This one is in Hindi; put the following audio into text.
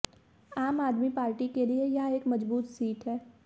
आम आदमी पार्टी के लिए यह एक मजबूत सीट है